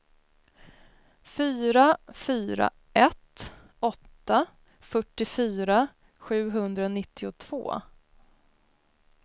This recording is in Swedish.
fyra fyra ett åtta fyrtiofyra sjuhundranittiotvå